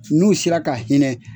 N'u sera ka hinɛ